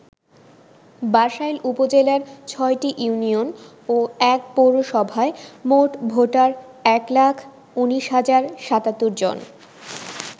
বাসাইল উপজেলার ৬টি ইউনিয়ন ও ১ পৌরসভায় মোট ভোটার এক লাখ ১৯ হাজার ৭৭ জন।